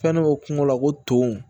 Fɛn dɔ bɛ kungo la ko to